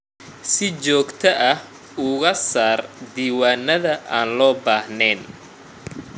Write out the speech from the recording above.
Si joogto ah uga saar diiwaannada aan loo baahnayn.